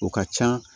O ka ca